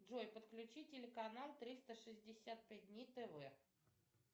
джой подключи телеканал триста шестьдесят пять дней тв